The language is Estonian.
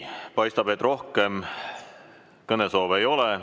Paistab, et rohkem kõnesoove ei ole.